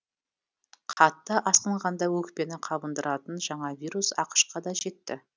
қатты асқынғанда өкпені қабындыратын жаңа вирус ақш қа да жетті